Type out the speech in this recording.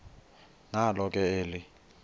nalo ke eli